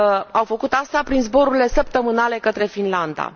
Au făcut asta prin zborurile săptămânale către Finlanda.